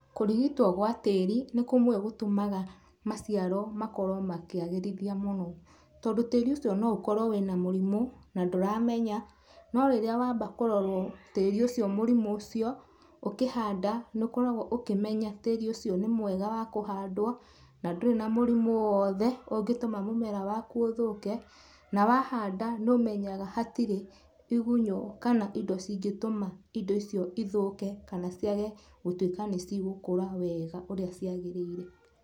Kũrigitwo gwa tĩri nĩ kũmwe gũtũmaga maciaro makorwo makĩagĩrithia mũno, tondũ tĩri ũcio no ũkorwo wĩna mũrimũ na ndũramenya, no rĩrĩa wamba kũrorwo tĩri ũcio mũrimũ ũcio, ũkĩhanda nĩũkoragwo ũkĩmenya tĩri ũcio nĩ mwega wa kũhandwo na ndũrĩ na mũrimũ o wothe ũngĩtũma mũmera waku ũthũke, na wahanda nĩũmenyaga hatire igunyo kana indo ingĩtũma indo icio ithũke kana ciage gũtuĩka nĩcigũkũra wega na ũrĩa ciagĩrĩire.